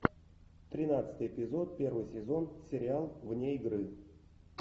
тринадцатый эпизод первый сезон сериал вне игры